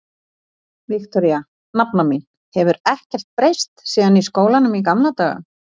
Viktoría, nafna mín, hefur ekkert breyst síðan í skólanum í gamla daga.